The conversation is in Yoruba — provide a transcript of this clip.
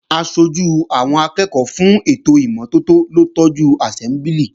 Aṣojú àwọn akẹ́ẹ̀kọ́ fún ètò ìmọ́tótó ló tọ́jú àsẹ́mbúlì